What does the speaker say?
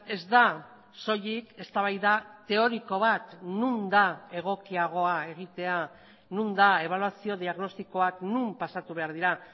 ez da soilik eztabaida teoriko bat non da egokiagoa egitea non da ebaluazio diagnostikoak non pasatu behar dira